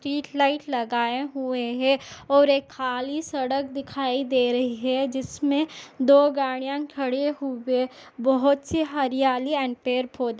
street light लगाये हुए है और एक खाली सड़क दिखाई दे रही है जिसमे दो गाड़ियाँ खड़े हुए बहुत से हरियाली एवं पेड़ पौधे--